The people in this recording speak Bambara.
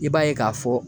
I b'a ye k'a fɔ